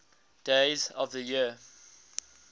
days of the year